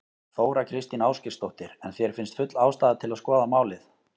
Þóra Kristín Ásgeirsdóttir: En þér finnst full ástæða til að skoða málið?